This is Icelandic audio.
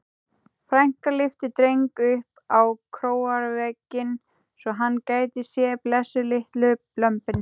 Frænka lyfti Dreng upp á króarvegginn svo hann gæti séð blessuð litlu lömbin.